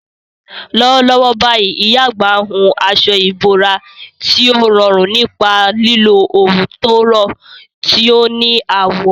Lọ́wọ́lọ́wọ́ báyìí, ìyá àgbà ń hun aṣọ ìbora tí ó rọrùn nípa lílo òwú tó rọ̀, tí ó ní àwọ̀.